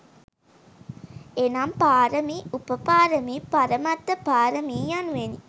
එනම් පාරමි, උපපාරමි, පරමත්ත පාරමි යනුවෙනි.